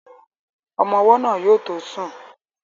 Ọmọ́ ọwọ́ náà yóò tó sùn